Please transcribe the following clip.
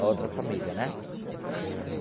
A outra família, né? Uhum.